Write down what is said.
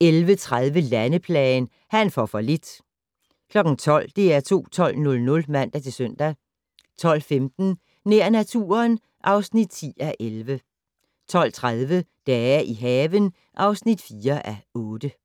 11:30: Landeplagen - "Han får for lidt" 12:00: DR2 12:00 (man-søn) 12:15: Nær naturen (10:11) 12:30: Dage i haven (4:8)